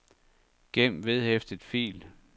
gem vedhæftet fil